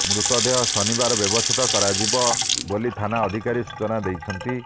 ମୃତଦେହ ଶନିବାର ବ୍ୟବଛେଦ କରାଯିବ ବୋଲି ଥାନା ଅଧିକାରୀ ସୂଚନା ଦେଇଛନ୍ତି